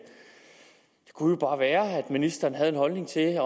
kunne jo bare være at ministeren havde en holdning til